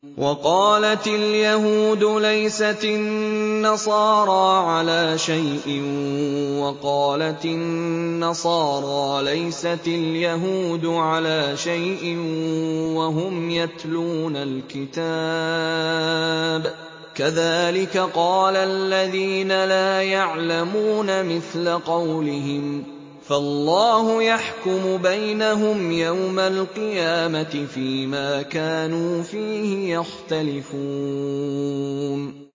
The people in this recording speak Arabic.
وَقَالَتِ الْيَهُودُ لَيْسَتِ النَّصَارَىٰ عَلَىٰ شَيْءٍ وَقَالَتِ النَّصَارَىٰ لَيْسَتِ الْيَهُودُ عَلَىٰ شَيْءٍ وَهُمْ يَتْلُونَ الْكِتَابَ ۗ كَذَٰلِكَ قَالَ الَّذِينَ لَا يَعْلَمُونَ مِثْلَ قَوْلِهِمْ ۚ فَاللَّهُ يَحْكُمُ بَيْنَهُمْ يَوْمَ الْقِيَامَةِ فِيمَا كَانُوا فِيهِ يَخْتَلِفُونَ